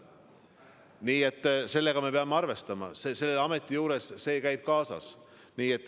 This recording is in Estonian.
Nii et sellega me peame arvestama, selle ametiga käib see kaasas.